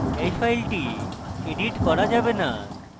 এই file edit করা যাবে না